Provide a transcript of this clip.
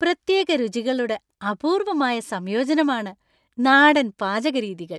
പ്രത്യേക രുചികളുടെ അപൂർവമായ സംയോജനമാണ് നാടൻ പാചകരീതികൾ .